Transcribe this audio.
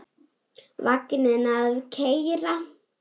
Vagninn að keyra.